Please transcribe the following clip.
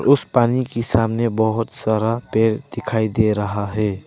उस पानी के सामने बहुत सारा पेड़ दिखाई दे रहा है।